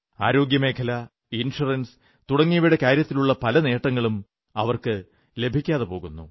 ആരോഗ്യമേഖല insurance തുടങ്ങിയവയുടെ കാര്യത്തിലുള്ള പല നേട്ടങ്ങളും അവർക്കു ലഭിക്കാതെ പോകുന്നു